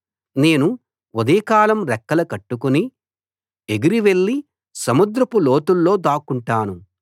నేను ఉదయకాలం రెక్కలు కట్టుకుని ఎగిరివెళ్ళి సముద్రపు లోతుల్లో దాక్కుంటాను